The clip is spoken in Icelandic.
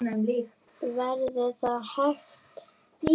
Verður það hægt?